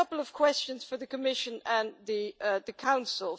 I have a couple of questions for the Commission and the Council.